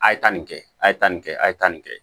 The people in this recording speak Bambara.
A' ye taa nin kɛ a ye taa nin kɛ a ye taa nin kɛ